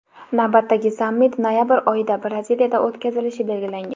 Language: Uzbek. Navbatdagi sammit noyabr oyida Braziliyada o‘tkazilishi belgilangan.